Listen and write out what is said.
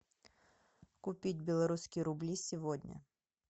купить белорусские рубли сегодня